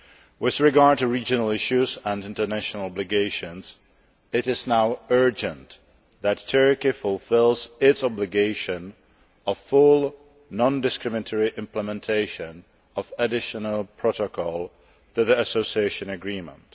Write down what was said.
With regard to regional issues and international obligations, it is now urgent that Turkey fulfils its obligation of full non discriminatory implementation of additional protocols to the association agreement.